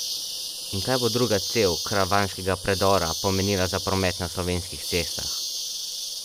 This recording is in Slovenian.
In kaj bo druga cev karavanškega predora pomenila za promet na slovenskih cestah?